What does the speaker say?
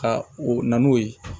Ka u na n'o ye